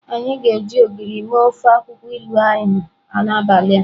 Anyi ga-eji Ogiri mee ofe akwukwo ilu ahu n'abali a.